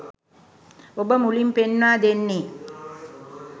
ඔබ මුලින් පෙන්වා දෙන්නේ